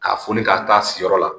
Ka foli ka taa siyɔrɔ la